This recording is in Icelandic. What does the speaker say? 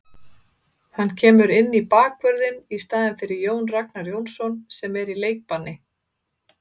Hann kemur inn í bakvörðinn í staðinn fyrir Jón Ragnar Jónsson sem er í leikbanni.